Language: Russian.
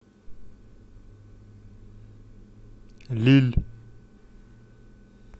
лилль